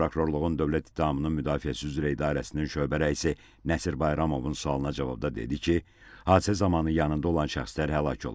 Baş Prokurorluğun dövlət ittihamının müdafiəsi üzrə idarəsinin şöbə rəisi Nəsir Bayramovun sualına cavabda dedi ki, hadisə zamanı yanında olan şəxslər həlak olub.